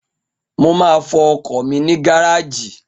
Mo máa fọ ọkọ̀ mi ní gáràjì